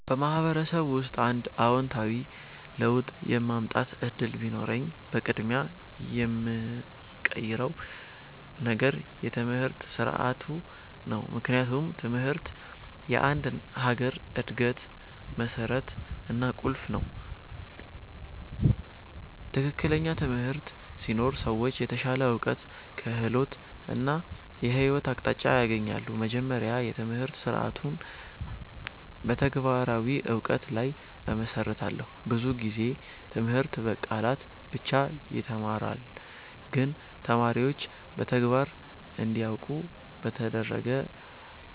በማህበረሰብ ውስጥ አንድ አዎንታዊ ለውጥ የማምጣት እድል ቢኖረኝ፣ በቅድሚያ የምቀይረው ነገር የትምህርት ስርዓቱ ነው። ምክንያቱም ትምህርት የአንድ ሀገር እድገት መሠረት እና ቁልፍ ነው። ትክክለኛ ትምህርት ሲኖር ሰዎች የተሻለ እውቀት፣ ክህሎት እና የህይወት አቅጣጫ ያገኛሉ። መጀመሪያ፣ የትምህርት ስርዓቱን በተግባራዊ እውቀት ላይ እመሰርታለሁ። ብዙ ጊዜ ትምህርት በቃላት ብቻ ይተማራል፣ ግን ተማሪዎች በተግባር እንዲያውቁ ከተደረገ